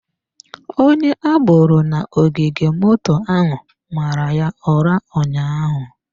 Onye agboro na ogige moto ahụ mara ya ụra ụnyaahụ.